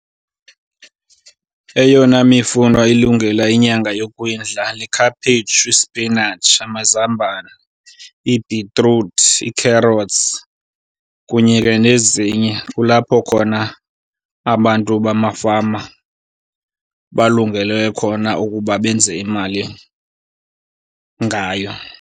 Eyona mifuno ilungela inyanga yokwindla likhaphetshu, ispinatshi, amazambane, ibhitruthi, i-carrots kunye ke nezinye. Kulapho khona abantu bamafama balungelwe khona ukuba benze imali ngayo.